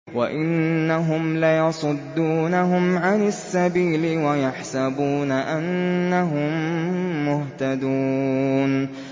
وَإِنَّهُمْ لَيَصُدُّونَهُمْ عَنِ السَّبِيلِ وَيَحْسَبُونَ أَنَّهُم مُّهْتَدُونَ